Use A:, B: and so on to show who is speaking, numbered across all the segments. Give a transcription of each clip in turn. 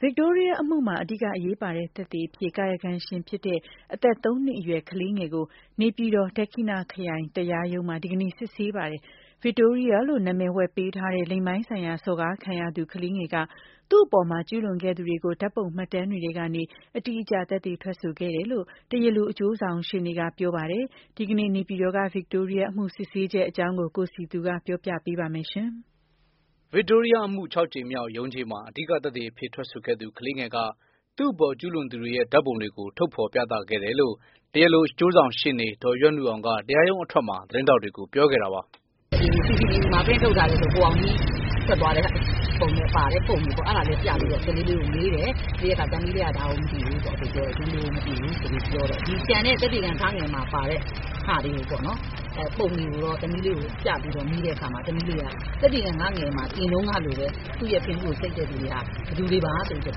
A: ဗစ်တိုးရီးယားအမှုမှာ အဓိကအရေးပါတဲ့ သက်သေအဖြစ် ကာယကံရှင်ဖြစ်တဲ့ အသက်သုံးနှစ်အရွယ် ကလေးငယ်ကို နေပြည်တော် ဒက္ခိဏခရိုင်တရားရုံးမှာ ဒီကနေ့စစ်ဆေးပါတယ်။ ဗစ်တိုးရီးယားလို့ နာမည်ဝှက်ပေးထားတဲ့ လိင်ပိုင်းဆိုင်ရာစော်ကားခံရသူ ကလေးငယ်က သူ့အပေါ်ကျူးလွန်ခဲ့သူတွေကို ဓာတ်ပုံမှတ်တမ်းတွေထဲကနေ အတိအကျ သက်သေထွက်ဆိုခဲ့တယ်လို့ တရားလိုအကျိုးဆောင်ရှေ့နေက ပြောပါတယ်။ ဒီကနေ့ နေပြည်တော်က ဗစ်တိုးရီးယား အမှုစစ်ဆေးချက်အကြောင်း ကိုစည်သူ ပြောပြပေးမှာပါ။
B: ဗစ်တိုးရီးယားအမှု ၆ ကြိမ်မြောက်ရုံးချိန်းမှာ အဓိကသက်သေအဖြစ်ထွက်ဆိုခဲ့သူ ကလေးငယ်က သူ့အပေါ်ကျူးလွန်သူတွေရဲ့ ဓာတ်ပုံတွေကို ထုတ်ဖော်ပြသခဲ့တယ်လို့ တရားလိုအကျိုးဆောင်ရှေ့နေ ဒေါ်ရွက်နုအောင်က တရားရုံးအထွက်မှာ သတင်းထောက်တွေကို ပြောခဲ့တာပါ။ “ CCTV
A: မှာ ပရင့်ထုတ်ထားတဲ့ ကိုအောင်ကြီးထွက်သွားတဲ့ပုံပါတဲ့ ပုံတွေကို ပြပြီးတော့ ကလေးလေးကို မေးတယ် ။ မေးတဲ့အခါ သမီးလေးက ဒါကိုမသိဘူးပေါ့ ဒီလူကိုမသိဘူးဆိုပြီး ပြောတယ်။ ဒီကျန်တဲ့ သက်သေခံ မှာပါတဲ့ ပုံတွေကိုတော့ သမီးလေးကို ပြပြီးတော့ မေးတဲ့အခါမှာ သမီးလေးက သက်သေခံ မှာတင်တုန်းကလိုပဲ သူ့ရဲ့ ဖင်ဗူးကိုဆိတ်တဲ့သူတွေဟာ ဘယ်သူတွေပါဆိုပြီးတော့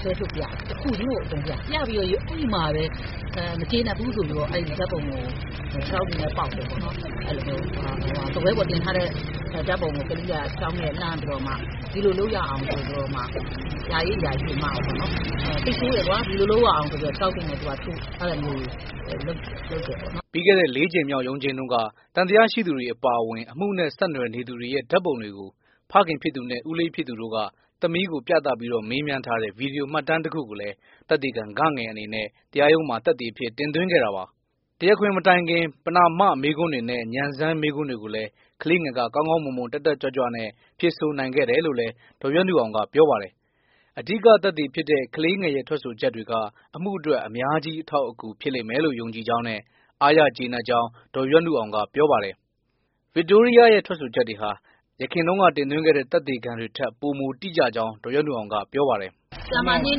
A: ဆွဲထုတ်ပြတယ်။ တစ်ခုချင်းကိုအကုန်ပြတယ်။ ပြပြီးတော့ အဲဒီမှာပဲ မကျေနပ်ဘူးဆိုပြီးတော့ အဲ့ဒီဓာတ်ပုံကို ခြေထောက်တွေနဲ့ ပေါက်တယ်။ စားပွဲပေါ်တင်ထားတဲ့ ဓါတ်ပုံကို ကလေးက စိတ်ဆိုးပြီးတော့ ခြေထောက်တွေနဲ့ ပေါက်တယ် အဲလိုမျိုးလုပ်တယ်ပေါ့နော် “
B: ပြီးခဲ့တဲ့ လေးကြိမ်မြောက်ရုံးချိန်းတုန်းကသံသယရှိသူတွေ အပါအဝင် အမှုနဲ့ ဆက်နွယ်နေသူတွေရဲ့ ဓာတ်ပုံတွေကို ဖခင်နဲ့ ဦးလေးဖြစ်သူတို့က သမီးကို ပြသပြီး မေးမြန်းထားတဲ့ ဗွီဒီယို မှတ်တမ်းတခုကိုလည်း သက်သေခံ အနေနဲ့တရားရုံးမှာ သက်သေအဖြစ် တင်သွင်းခဲ့တာပါ။ တရားခွင်မတိုင်ခင် ပဏာမမေးခွန်းတွေနဲ့ ဉာဏ်စမ်းမေးခွန်းတွေကိုလည်း ကလေးငယ်က ကောင်းကောင်း မွန်မွန် တက်တက်ကြွကြွနဲ့ ဖြေဆိုနိုင်ခဲ့တယ်လို့လည်း ဒေါ်ရွက်နုအောင်က ပြောပါတယ်။ အဓိက သက်သေဖြစ်တဲ့ ကလေးငယ်ရဲ့ ထွက်ဆိုချက်တွေက အမှုအတွက် အများကြီး အထောက်အကူ ဖြစ်လိမ့်မယ်လို့ ယုံကြည်ကြောင်းနဲ့ အားရကျေနပ်ကြောင်း ဒေါ်ရွက်နုအောင်က ပြောပါတယ်။ ကလေးငယ်ရဲ့ထွက်ဆိုချက်တွေဟာ ယခင်တင်သွင်းတဲ့ သက်သေခံတွေထက် ပိုမိုတိကျကြောင်း ဒေါ်ရွက်နုအောင်က ပြောပါတယ်။
A: “ဆရာမ နှင်း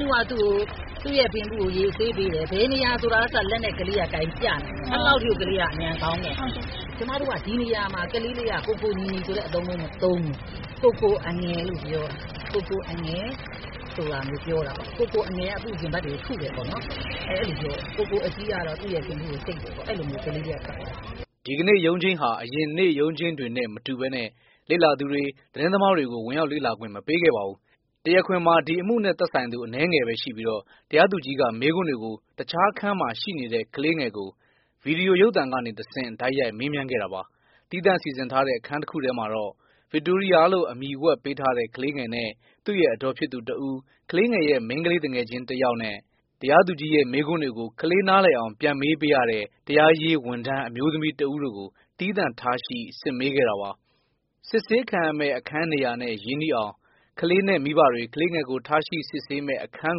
A: နုက ဖင်ဗူးကိုရေဆေးပေးတယ်။ ဘယ်နေရာဆိုတာကအစ လက်နဲ့ ကလေးက ကိုင်ပြတယ်။ အဲလောက်ထိကို ကလေးက ဉာဏ်ကောင်းတယ်။ ဒီနေရာမှာကလေးက ကိုကိုညီညီလို့မသုံးဘူး ။ ကိုကိုအငယ်လို့ပြောတယ် ကိုကိုအငယ်က သူ့ရဲ့ ရင်ဘတ်တွေကို ထုတယ်ပေါ့နော် အဲလိုပြောတယ်။ ကိုကိုအကြီးက သူ့ဖင်ဗူးကို ဆိတ်တယ်ပေါ့။ အဲလိုမျိုးကလေးလေးက ထွက်ဆိုတယ
B: ်” ဒီကနေ့ရုံးချိန်းဟာ အရင်နေ့ရုံးချိန်းတွေနဲ့ မတူပဲ လေ့လာသူတွေ သတင်းသမားတွေကို ဝင်ရောက်လေ့လာခွင့် မပေးခဲ့ပါဘူး။ တရားခွင်မှာ ဒီအမှုနဲ့သက်ဆိုင်သူ အနည်းငယ်ပဲရှိပြီးတော့ တရားသူကြီးက မေးခွန်းတွေကို တခြားအခန်းမှာရှိနေတဲ့ ကလေးငယ်ကိုဗွီဒီယိုရုပ်သံကနေတဆင့် တိုက်ရိုက် မေးမြန်းခဲ့တာပါ။ သီးသန့်စီစဉ်ထားတဲ့ အခန်းတစ်ခုမှာတော့ဗစ်တိုးရီးယားလို့ အမည်ဝှက်ပေးထားတဲ့ ကလေးငယ်နဲ့ သူ့ရဲ့အဒေါ်ဖြစ်သူတစ်ဦး၊ကလေးငယ်ရဲ့ မိန်းကလေးသူငယ်ချင်း ကလေးတစ်ယောက်နဲ့ တရားသူကြီးရဲ့ မေးခွန်းတွေကို ကလေးနားလည်အောင် ပြန်မေးပေးရတဲ့ တရားရေးဝန်ထမ်း အမျိုးသမီးတစ်ဦးတို့ကို သီးသန့်ထားရှိ စစ်မေးခဲ့တာပါ။ စစ်ဆေးခံရမယ့်အခန်းနေရာနဲ့ ရင်းနှီးအောင် ကလေးနဲ့မိဘတွေ ကလေးငယ်ကိုထားရှိစစ်ဆေးတဲ့ အခန်း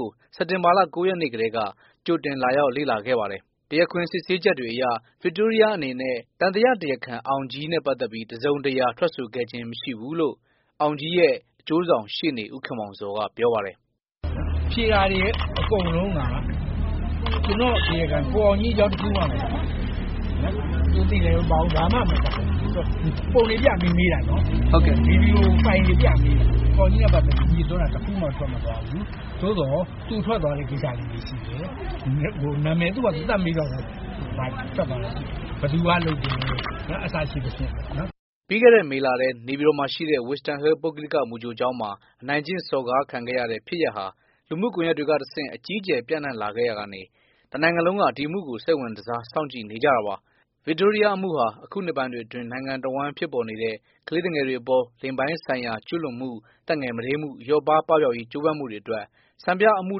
B: ကို စက်တင်ဘာ ၉ ရက်နေ့တုန်းက ကြိုတင်လာရောက်ခဲ့ကြပါတယ်။ တရားခွင်စစ်ဆေးချက်အရ ဗစ်တိုးရီးယားအနေနဲ သံသယတရားခံ အောင်ကြီးကိုတော့ တစ်စုံတစ်ရာ ထွက်ဆိုခဲ့ခြင်းမရှိဘူးလို့ အောင်ကြီးရဲ့အကျိုးဆောင်ရှေ့နေ ဦးခင်မောင်ဇော်က ပြောပါတယ်။ “ဖြေတာတွေအကုန်လုံးက ကိုအောင်ကြီးအကြောင်း တခုမှ မပါဘူး။ ဘာမှမပါဘူး ပုံတွေပြပြီးတော့ မေးတာပေါ့နော်။ ဗွီဒီယိုဖိုင်တွေပြပြီးတော့ မေးတာ ကိုအောင်ကြီးလို့ပြောတာ တခုမှ မပါဘူး သို့သော် သူထွက်သွားတဲ့ နာမည်တွေရှိတယ် ဘယ်သူက လုပ်တယ် စသဖြင့်ပေါ့နော်။” ပြီးခဲ့တဲ့ မေလထဲ နေပြည်တော်မှာရှိတဲ့ Wisdom Hill ပုဂ္ဂလိက မူကြိုကျောင်းမှာ အနိုင်ကျင့်စော်ကားခံခဲ့ရတဲ့ ဖြစ်ရပ်ဟာ လူမှုကွန်ရက်တွေကတဆင့် အကြီးအကျယ် ပြန့်နှံ့ခဲ့ရာက တစ်နိုင်ငံလုံးက ဒီအမှုကို စိတ်ဝင်စား စောင့်ကြည့်နေကြတာပါ။ ဗစ်တိုးရီးယား အမှုဟာ အခုနှစ်ပိုင်းတွေအတွင်း နိုင်ငံတဝိုင်းဖြစ်ပေါ်နေတဲ့ ကလေးသူငယ်တွေအပေါ် လိင်ပိုင်းဆိုင်ရာကျူးလွန်မှု သက်ငယ်မဒိမ်းမှု လျော့ပါး ပပျောက်ရေးကြိုးပမ်းမှုတွေအတွက် စံပြအမှု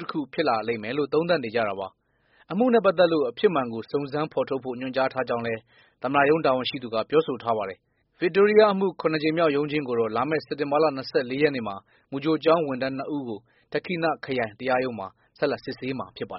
B: တစ်ခု ဖြစ်လာလိမ့်မယ်လို့ သုံးသပ်နေကြတာပါ။ အမှုနဲ့ ပတ်သက်လို့ အဖြစ်မှန်ကို စုံစမ်းဖော်ထုတ်ဖို့ ညွှန်ကြားထားကြောင်းလည်း သမ္မတရုံးတာဝန်ရှိသူက ပြောဆိုထားပါတယ်။ ဗစ်တိုးရီးယားအမှု ၇ ကြိမ်မြောက်ရုံးချိန်းကို လာမယ့်စက်တင်ဘာလ ရက်နေ့မှာမူကြိုကျောင်းဝန်ထမ်း ၂ ဦးကို ဒဏ္ခိဏခရိုင်တရားရုံးမှာ ဆက်လက်စစ်ဆေးမှာ ဖြစ်ပါတယ်